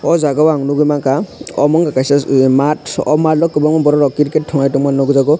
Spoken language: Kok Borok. aw jaaga o ang nugui manka omo unka kaisa maat aw maat o kwbangma borok rok cricket tunglai tongmani nuk jago.